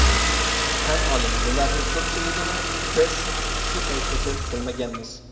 Tan oling, bularning ko‘pchiligini biz shu paytgacha bilmaganmiz.